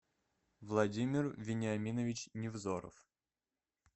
владимир вениаминович невзоров